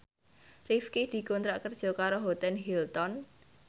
Rifqi dikontrak kerja karo Hotel Hilton